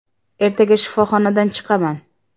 Ertaga shifoxonadan chiqaman.